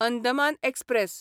Andaman express